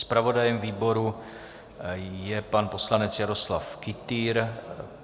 Zpravodajem výboru je pan poslanec Jaroslav Kytýr.